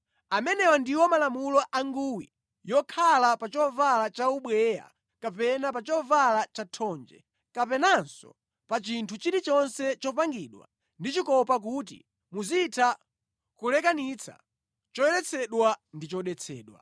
Amenewa ndiwo malamulo a nguwi yokhala pa chovala chaubweya kapena pa chovala chathonje, kapenanso pa chinthu chilichonse chopangidwa ndi chikopa kuti muzitha kulekanitsa choyeretsedwa ndi chodetsedwa.